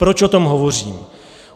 Proč o tom hovořím?